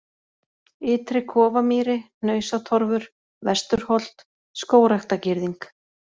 Ytri-Kofamýri, Hnausatorfur, Vesturholt, Skógræktargirðing